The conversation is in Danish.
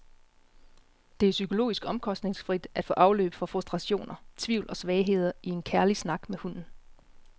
Det er psykologisk omkostningsfrit at få afløb for frustrationer, tvivl og svagheder i en kærlig snak med hunden.